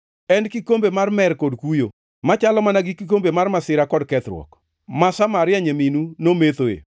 En kikombe mar mer kod kuyo, machalo mana gi kikombe mar masira kod kethruok, ma Samaria nyaminu nomethoe.